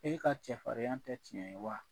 E ka cɛfarinya tɛ tiɲɛ ye wa?